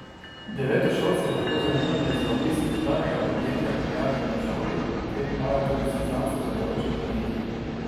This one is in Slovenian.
Devetošolci lahko zanimanje za obisk izbranega podjetja prijavijo na šoli, kjer imajo tudi seznam sodelujočih podjetij.